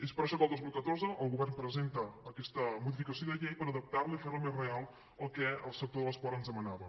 és per això que el dos mil catorze el govern presenta aquesta modificació de llei per adaptar la i fer la més real al que el sector de l’esport ens demanava